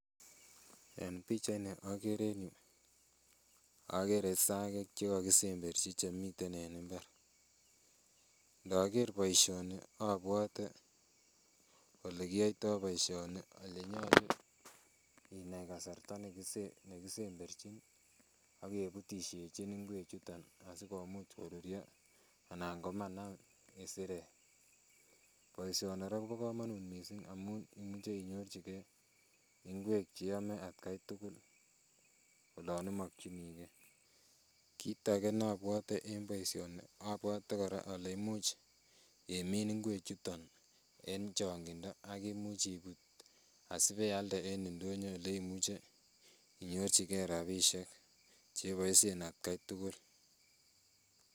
En pichait ni okere en yuu okere isagek chekokisemberchi chemiten en mbar, inoker boisioni obwote olekiyoitoo boisioni elenyolu inai kasarta nekisemberchin ak kebutisyechin ngwek chuton asikomuch koruryo anan komanam isirek. Boisioni kobo komonut missing amun imuch inyorchigee ngwek cheome atkai tugul olon imokyinigee. Kit age nobwote en boisioni abwote kora ole imuch imin ngwek chuton en chong'indo ak imuch ibut asibealde en ndonyo olemuche inyorchigee rapisiek cheboisien atkai tugul.